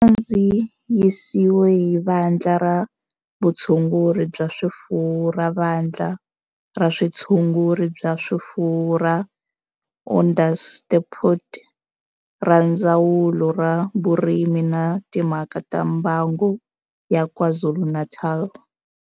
Xi kandziyisiwe hi Vandla ra Vutshunguri bya swifuwo ra Vandla ra Vutshunguri bya swifuwo ra Onderstepoort na Ndzawulo ya Vurimi na Timhaka ta Mbango ya KwaZulu-Natal.